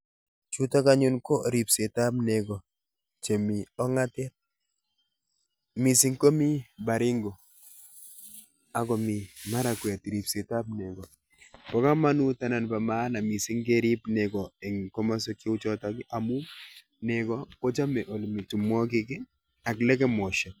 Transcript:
Chutok anyun ko ripsetap nego chemi ong'atet, mising komi Baringo akomi Marakwet ripsetap nego. Bo komonut anan bo maana mising kerip nego eng komoswek cheu choto amu nego kochome olemi tumwokik ak lekemoshek.